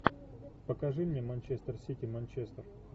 покажи мне манчестер сити манчестер